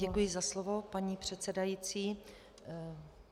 Děkuji za slovo, paní předsedající.